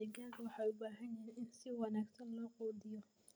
Digaagga waxay u baahan yihiin in si wanaagsan loo quudiyo.